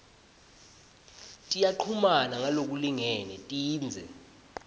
tiyachumana ngalokulingene tindze